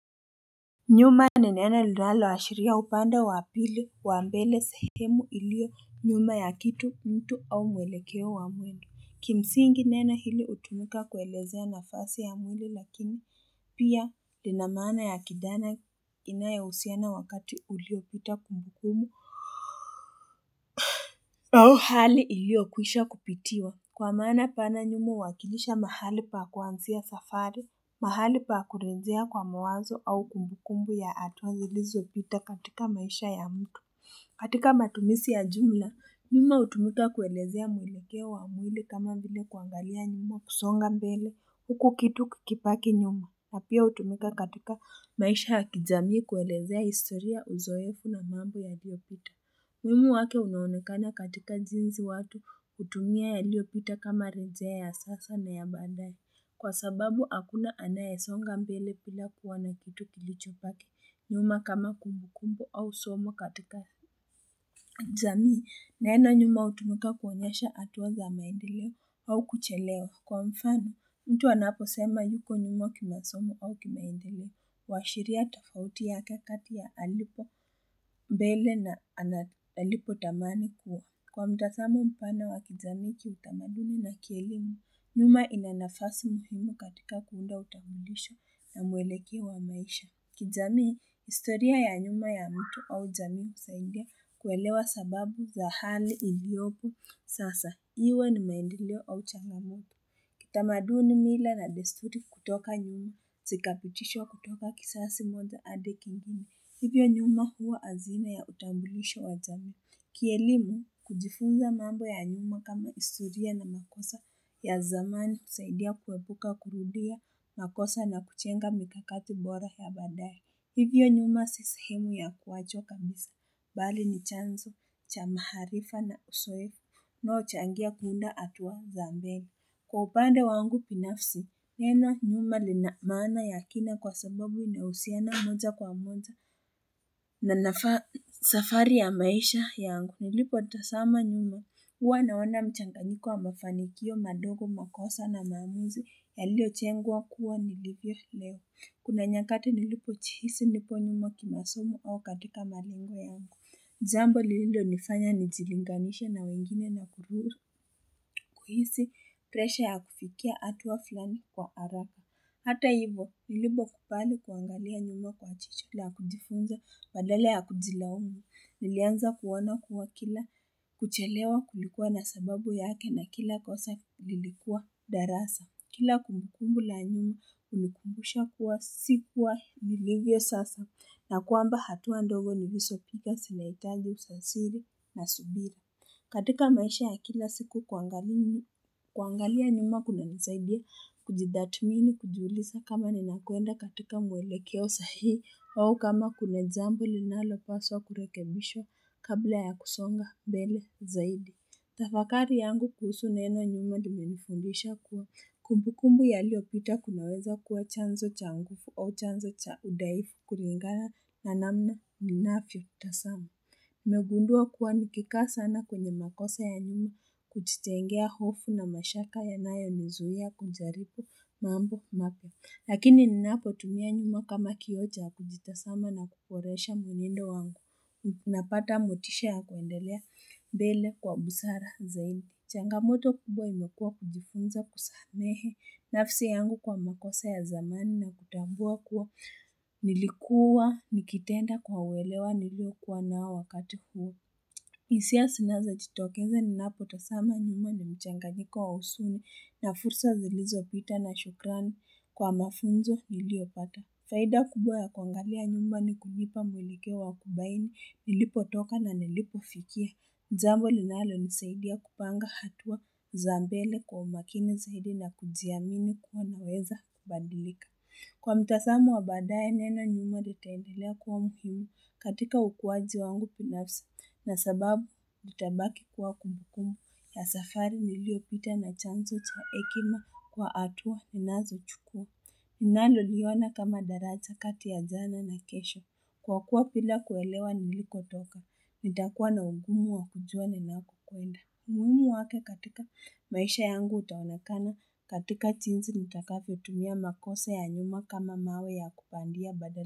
Nyuma ni neno linaloashiria upande wa pili wa mbele sehemu iliyo nyuma ya kitu mtu au mwelekeo wa mwendo Kimsingi neno hili hutumika kuelezea nafasi ya mwili lakini pia lina maana ya kijana inayohusiana wakati uliopita kumbukumu au hali iliyokwisha kupitiwa Kwa maana pana nyuma huwakilisha mahali pa kuanzia safari mahali pa kurejea kwa mawazo au kumbukumbu ya hatua zilizopita katika maisha ya mtu. Katika matumizi ya jumla, nyuma hutumika kuelezea mwelekeo wa mwili kama vile kuangalia nyuma kusonga mbele. Huku kitu kikibaki nyuma. Na pia hutumika katika maisha ya kijamii kuelezea historia uzoefu na mambo yaliyopita. Umuhimu wake unaonekana katika jinsi watu hutumia yaliyopita kama rejea ya sasa na ya baadae. Kwa sababu hakuna anayesonga mbele bila kuona kitu kilichobaki nyuma kama kumbu kumbu au somo katika jamii. Neno nyuma hutumika kuonyesha hatua za maendeleo au kuchelewa. Kwa mfano, mtu anaposema yuko nyuma kimasomo au kimaendeleo. Huashiria tofauti yake kati ya alipo mbele na alipotamani kuwa. Kwa mtazamo mpana wa kijamii kiutamaduni na kielimu, nyuma ina nafasi muhimu katika kuunda utambulisho ya mwelekeo wa maisha. Kijamii, historia ya nyuma ya mtu au jamii husaidia kuelewa sababu za hali iliopo sasa iwe ni maendeleo au changamoto. Kitamaduni mila na desturi kutoka nyuma, sikapitishwa kutoka kizazi moja hadi kingine. Hivyo nyuma huwa azina ya utambulisho wa jamii. Kielimu kujifunza mambo ya nyuma kama historia na makosa ya zamani husaidia kuepuka kurudia makosa na kujenga mikakati bora ya baadae. Hivyo nyuma si sehemu ya kuwachwa kabisa. Bali ni chanzo cha maarifa na uzoefu unaochangia kuunda hatua za mbele Kwa upande wangu binafsi, neno nyuma lina maana ya kina kwa sababu inahusiana moja kwa moja na safari ya maisha yangu nilipotazama nyuma huwa naona mchanganyiko wa mafanikio madogo makosa na maamuzi yaliyo jengwa kuwa nilivyo leo Kuna nyakati nilipojihisi nipo nyuma kimasomo au katika malengo yangu jambo lililonifanya nijilinganisha na wengine na kuhisi presha ya kufikia hatua fulani kwa haraka. Hata hivo, nilipokubali kuangalia nyuma kwa jicho la kujifunza, badala ya kujilaumu. Nilianza kuoana kuwa kila kuchelewa kulikuwa na sababu yake na kila kosa lilikuwa darasa. Kila kumbukumbu la nyuma hunikumbusha kuwa sikuwa nilivyo sasa na kwamba hatua ndogo niilizopiga zinahitaji ujasiri na subira. Katika maisha ya kila siku kuangalia nyuma kunanisaidia kujitathmini kujiulisa kama ninakuenda katika mwelekeo sahihi au kama kuna jambo linalopaswa kurekebishwa kabla ya kusonga mbele zaidi. Tafakari yangu kuhusu neno nyuma limenifundisha kuwa kumbu kumbu yaliopita kunaweza kuwa chanzo cha nguvu au chanzo cha udhaifu kulingana na namna ninavyotazama. Nimegundua kuwa nikikaa sana kwenye makosa ya nyuma kujitengea hofu na mashaka ya nayonizuia kujaribu mambo mapya. Lakini ninapotumia nyuma kama kioo cha kujitazama na kuboresha mwenendo wangu, napata motisha ya kuendelea mbele kwa busara zaidi. Changamoto kubwa imekua kujifunza kusamehe nafsi yangu kwa makosa ya zamani na kutambua kuwa nilikua nikitenda kwa welewa niliokuwa nao wakati huu. Hisia zinazojitokeza ninapotazama nyuma ni mchanganyiko wa huzuni na fursa zilizopita na shukrani kwa mafunzo niliyopata. Faida kubwa ya kuangalia nyumba ni kunipa mwelekeo wa kubaini nilipotoka na nilipofikia. Jambo linalonisaidia kupanga hatua za mbele kwa umakini zaidi na kujiamini kuwa naweza kubadilika. Kwa mtazamo wa baadae neno nyuma litaendelea kuwa muhimu katika ukuaji wangu binafsi na sababu nitabaki kuwa kumbukumu ya safari niliyopita na chanzo cha hekima kwa hatua ninazochukua. Naloliona kama daraja kati ya jana na kesho. Kwa kuwa bila kuelewa nilikotoka, nitakuwa na ugumu wa kujua ninapokwenda. Umuhimu wake katika maisha yangu utaonekana katika jinsi nitakavyotumia makosa ya nyuma kama mawe ya kupandia badala.